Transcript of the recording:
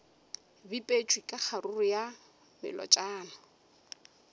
bipetšwe ka kgaruru ya melotšana